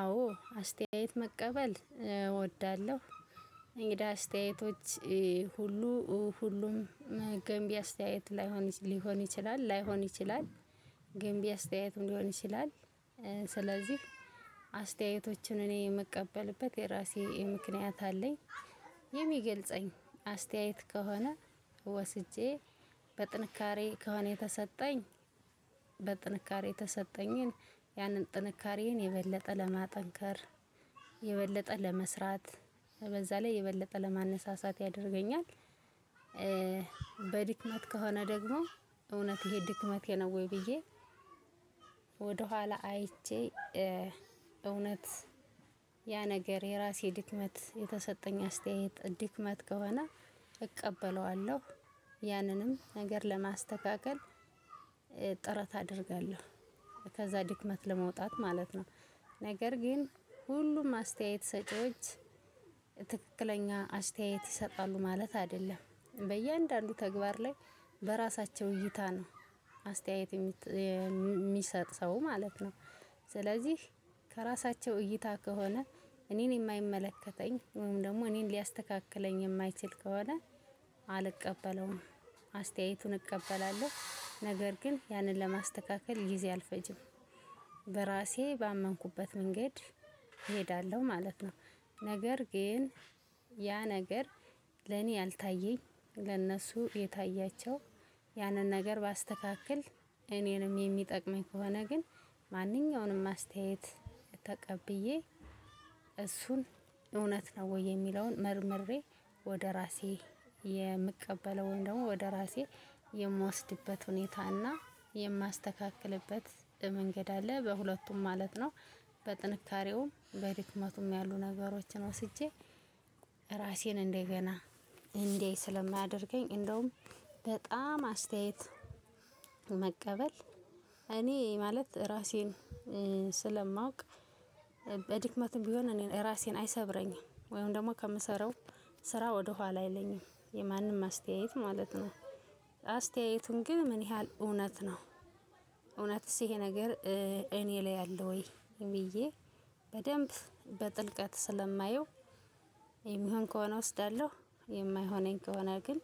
አዎ አስተያየት መቀበል እወዳለሁ። እንግዲህ አስተያየቶች ሁሉ ሁሉም ገንቢ አስተያየት ላይሆን ሊሆን ይችላል ላይሆን ይችላል። ገንቢ አስተያየት እንዲሆንሽ ይላል። ስለዚህ አስተያየቶችን እኔ የምቀበልበት የራሴ ምክንያት አለኝ። የሚገልጸኝ አስተያየት ከሆነ ወስጄ በጥንካሬ ከሆነ የተሰጠኝ በጥንካሬ የተሰጠኝን ያንን ጥንካሬን የበለጠ ለማጠንከር የበለጠ ለመስራት በዛ ላይ የበለጠ ለማነሳሳት ያደርገኛል። በድክመት ከሆነ ደግሞ እውነት ይሄ ድክመቴ ነው ወይ ብዬ? ወደኋላ አይቼ እውነት ያ ነገር የራሴ ድክመት የተሰጠኝ አስተያየት ድክመት ከሆነ እቀበለዋለሁ። ያንንም ነገር ለማስተካከል ጥረት አደርጋለሁ። ከዛ ድክመት ለመውጣት ማለት ነው። ነገር ግን ሁሉም አስተያየት ሰጪዎች ትክክለኛ አስተያየት ይሰጣሉ ማለት አይደለም በእያንዳንዱ ተግባር ላይ በራሳቸው እይታ ነው አስተያየት የሚሰጥ ሰው ማለት ነው። ስለዚህ ከራሳቸው እይታ ከሆነ እኔን የማይመለከተኝ ወይም ደግሞ እኔን ሊያስተካክለኝ የማይችል ከሆነ አልቀበለውም። አስተያየቱን እቀበላለሁ ነገር ግን ያንን ለማስተካከል ጊዜ አልፈጅም። በራሴ ባመንኩበት መንገድ እሄዳለሁ ማለት ነው። ነገር ግን ያ ነገር ለኔ ያልታየኝ ለእነሱ የታያቸው ያንን ነገር ባስተካክል እኔንም የሚጠቅመኝ ከሆነ ግን ማንኛውንም አስተያየት ተቀብዬ እሱን እውነት ነው ወይ የሚለውን መርምሬ ወደ ራሴ የምቀበለውን ደግሞ ወደ ራሴ የምወስድበት ሁኔታ እና የማስተካክልበት መንገድ አለ በሁለቱም ማለት ነው። በጥንካሬውም በድክመቱም ያሉ ነገሮችን ወስጄ ራሴን እንደገና እንዳይ ስለሚያደርገኝ እንደውም በጣም አስተያየት መቀበል እኔ ማለት ራሴን ስለማውቅ። በድክመትም ቢሆን እኔ ራሴን አይሰብረኝም ወይም ደግሞ ከምሰራው ስራ ወደ ኋላ አይለኝም የማንም አስተያየት ማለት ነው። አስተያየቱን ግን ምን ያህል እውነት ነው? እውነትስ ይሄ ነገር እኔ ላይ ያለው ወይ ብዬ? በደንብ በጥልቀት ስለማየው የሚሆን ከሆነ እወስዳለሁ። የማይሆነኝ ከሆነ ግን